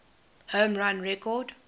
home run record